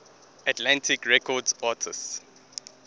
atlantic records artists